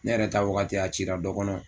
Ne yɛrɛ taa wagati a cira dɔ kɔnɔ